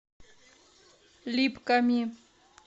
липками